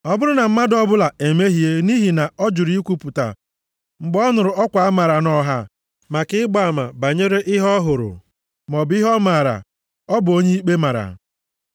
“ ‘Ọ bụrụ na mmadụ ọbụla emehie nʼihi na ọ jụrụ ikwupụta mgbe ọ nụrụ ọkwa amaara nʼọha maka ịgba ama banyere ihe ọ hụrụ maọbụ ihe ọ maara, ọ bụ onye ikpe mara.